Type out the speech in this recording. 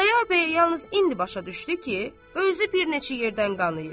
Xudayar bəy yalnız indi başa düşdü ki, özü bir neçə yerdən qanayıb.